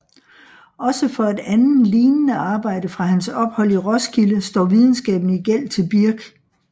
Også for et andet lignende arbejde fra hans ophold i Roskilde står videnskaben i gæld til Birch